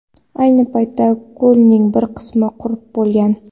Ayni paytda ko‘lning bir qismi qurib bo‘lgan.